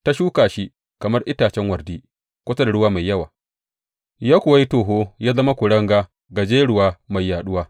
Ta shuka shi kamar itacen wardi kusa da ruwa mai yawa, ya kuwa yi toho ya zama kuringa gajeruwa mai yaɗuwa.